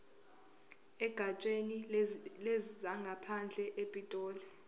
egatsheni lezangaphandle epitoli